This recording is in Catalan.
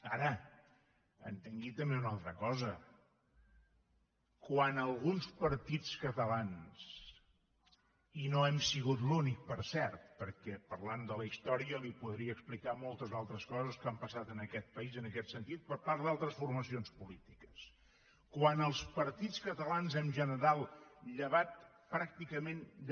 ara entengui també una altra cosa quan alguns partits catalans i no hem sigut l’únic per cert perquè parlant de la història li podria explicar moltes altres coses que han passat en aquest país en aquest sentit per part d’altres formacions polítiques quan els partits catalans en general llevat pràcticament de